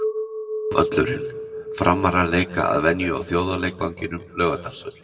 Völlurinn: Framarar leika að venju á þjóðarleikvangnum, Laugardalsvelli.